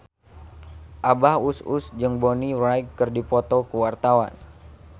Abah Us Us jeung Bonnie Wright keur dipoto ku wartawan